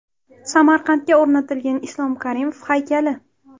Samarqandga o‘rnatilgan Islom Karimov haykali.